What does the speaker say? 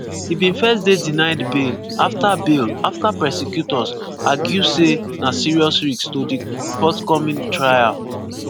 e bin first dey denied bail afta bail afta prosecutors argue say "na serious risk" to di forthcoming trial.